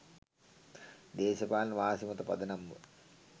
දේශපාලන වාසි මත පදනම්ව